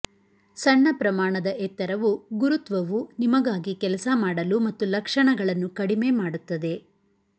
ಸಣ್ಣ ಪ್ರಮಾಣದ ಎತ್ತರವು ಗುರುತ್ವವು ನಿಮಗಾಗಿ ಕೆಲಸ ಮಾಡಲು ಮತ್ತು ಲಕ್ಷಣಗಳನ್ನು ಕಡಿಮೆ ಮಾಡುತ್ತದೆ